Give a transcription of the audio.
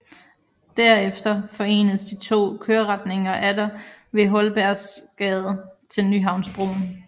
Derefter forenedes de to køreretninger atter ad Holbergsgade til Nyhavnsbroen